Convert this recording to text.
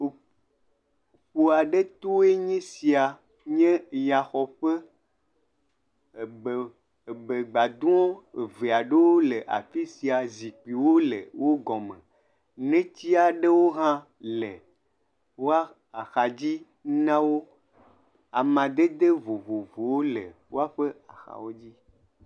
Ƒu aɖe toe nye sia nye yaxɔƒe. Ebe ebegbadɔ̃ eve aɖewo le afi sia zikpuiwo le wo gɔme, netsi aɖewo hã le woa axa dzi na wo. Amadede vovovowo le woaƒe axawo dzi.